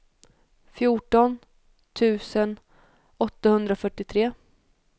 fjorton tusen åttahundrafyrtiotre